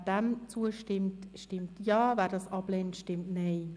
Wer diesem Antrag zustimmt, stimmt Ja, wer diesen ablehnt, stimmt Nein.